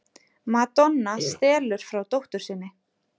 Madonna stelur frá dóttur sinni